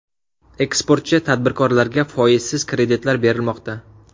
Eksportchi tadbirkorlarga foizsiz kreditlar berilmoqda.